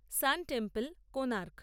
San temple Konark